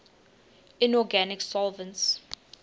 inorganic solvents